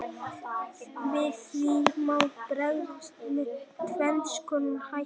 Við því má bregðast með tvenns konar hætti.